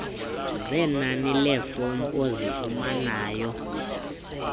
zenani leefomu ozifunanayo